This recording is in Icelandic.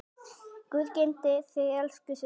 Guð geymi þig elsku systir.